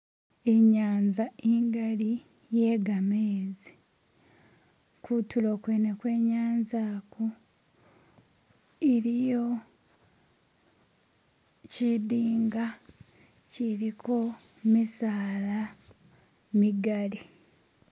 Inyanza ingali iye gamezi, kutulo kwene kwe inyanza iliyo kyidinga kyiliko misaala migali.